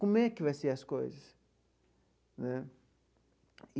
Como é que vai ser as coisas né?